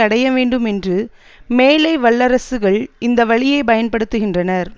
அடைய வேண்டும் என்று மேலை வல்லரசுகள் இந்த வழியை பயன்படுத்துகின்றனர்